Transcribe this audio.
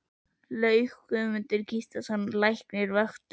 Laug og Guðmundur Gíslason læknir vöktu